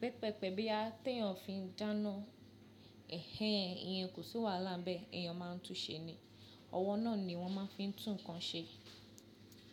pẹpẹpẹ̀ bí a tí ẹ̀ ń fi dáná, ẹhẹ́n, iyan kò sí wàhálà bẹ́ẹ̀, èèyàn máa ń túnsẹ́ ni. Ọwọ́ náà ni wọ́n fi máa ń tún nǹkan ṣe.